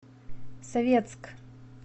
советск